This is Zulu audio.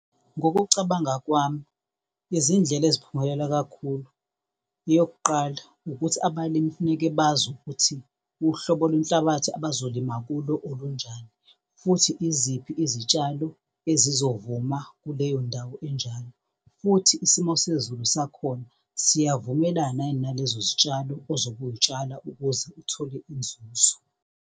Ngokucabanga kwami izindlela eziphumela kakhulu, eyokuqala ukuthi abalimi funeke bazi ukuthi uhlobo lwenhlabathi abazolima kulo olunjani futhi yiziphi izitshalo ezizovuma kuleyo ndawo enjalo. Futhi isimo sezulu sakhona siyavumelana yini nalezo zitshalo ozobe uy'tshala ukuze uthole inzuzo.